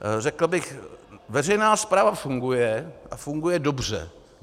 Řekl bych, veřejná správa funguje a funguje dobře.